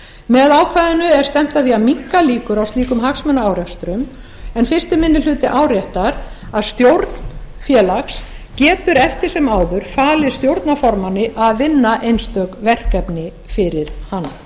með ákvæðinu er stefnt að því að minnka líkur á slíkum hagsmunaárekstrum en fyrsti minni hluti áréttar að stjórn félags getur eftir sem áður falið stjórnarformanni að vinna einstök verkefni fyrir hana